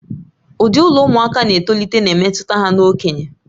Ụdị ụlọ ụmụaka na-etolite na-emetụta ha na okenye